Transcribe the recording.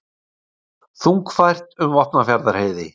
Þungfært um Vopnafjarðarheiði